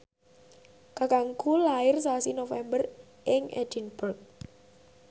kakangku lair sasi November ing Edinburgh